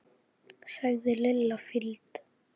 sagði Lilla fýld.